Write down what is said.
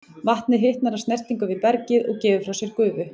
Vatnið hitnar af snertingu við bergið og gefur frá sér gufu.